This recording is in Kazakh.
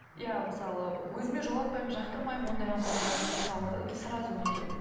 иә мысалы өзіме жолатпаймын жақтырмаймын ондай адамдарды мысалы сразу нетемін